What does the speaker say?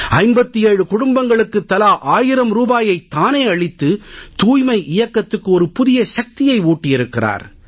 57 குடும்பங்களுக்குத் தலா 1000 ரூபாயை தானே அளித்து தூய்மை இயக்கத்துக்கு ஒரு புதிய சக்தியை ஊட்டியிருக்கிறார்